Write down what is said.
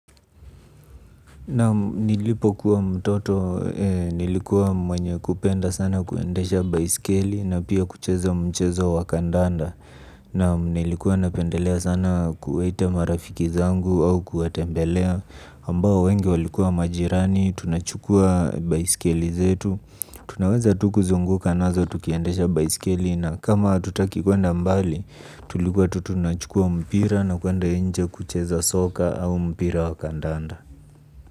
Naam nilipokuwa mtoto nilikuwa mwenye kupenda sana kuendesha baiskeli na pia kucheza mchezo wa kandanda. Naam nilikuwa napendelea sana kuwaita marafiki zangu au kuwatembelea ambao wengi walikuwa majirani tunachukua baiskeli zetu tunaweza tu kuzunguka nazo tukiendesha baiskeli na kama hatutaki kuenda mbali. Tulikuwa tu tunachukua mpira na kuenda nje kucheza soka au mpira wa kandanda.